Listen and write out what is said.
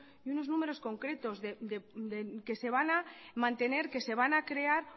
y unos números concretos que se van a mantener que se van a crear